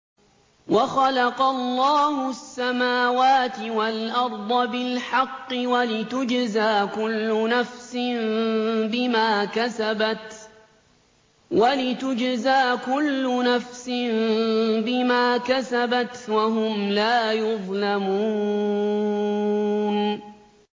وَخَلَقَ اللَّهُ السَّمَاوَاتِ وَالْأَرْضَ بِالْحَقِّ وَلِتُجْزَىٰ كُلُّ نَفْسٍ بِمَا كَسَبَتْ وَهُمْ لَا يُظْلَمُونَ